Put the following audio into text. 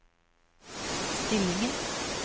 stillingen